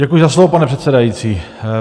Děkuji za slovo, pane předsedající.